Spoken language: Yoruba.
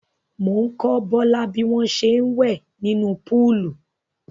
Mò ń kọ́ Bọ́lá bí wọ́n ṣe ń wẹ̀ nínú póòlù.